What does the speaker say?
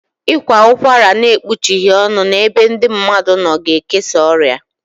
Ị kwa ụkwara n'ekpuchighi ọnụ n'ebe ndị mmadụ nọ ga ekesa ọrịa